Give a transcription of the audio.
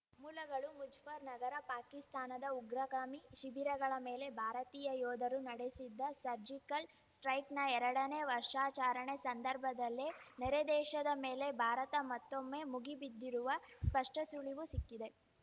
ಮೂಲಗಳು ಮುಜಫ್ಫರ್‌ನಗರ ಪಾಕಿಸ್ತಾನದ ಉಗ್ರಗಾಮಿ ಶಿಬಿರಗಳ ಮೇಲೆ ಭಾರತೀಯ ಯೋಧರು ನಡೆಸಿದ್ದ ಸರ್ಜಿಕಲ್‌ ಸ್ಟೈಕ್‌ನ ಎರಡನೇ ವರ್ಷಾಚರಣೆ ಸಂದರ್ಭದಲ್ಲೇ ನೆರೆ ದೇಶದ ಮೇಲೆ ಭಾರತ ಮತ್ತೊಮ್ಮೆ ಮುಗಿಬಿದ್ದಿರುವ ಸ್ಪಷ್ಟಸುಳಿವು ಸಿಕ್ಕಿದೆ